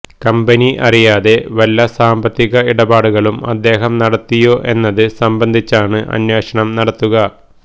company അറിയാതെ വല്ല സാമ്പത്തിക ഇടപാടുകളും അദ്ദേഹം നടത്തിയോ എന്നത് സംബന്ധിച്ചാണ് അന്വേഷണം നടത്തുക